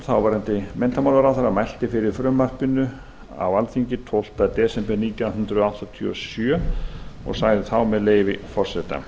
þáverandi menntamálaráðherra mælti fyrir frumvarpinu á alþingi tólfta desember nítján hundruð áttatíu og sjö og sagði þá með leyfi forseta